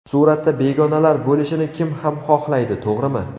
Suratda begonalar bo‘lishini kim ham xohlaydi, to‘g‘rimi?